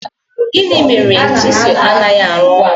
Gịnị mere chisel anaghị arụ ọrụ?